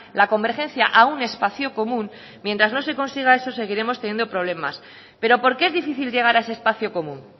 la convergencia a un espacio común mientras no se consiga eso seguiremos teniendo problemas pero por qué es difícil llegar a ese espacio común